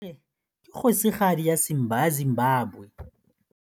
Harare ke kgosigadi ya Zimbabwe.